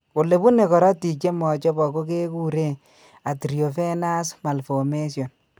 Ole bune karotiik che machopok ko kekure arteriovenous malformations .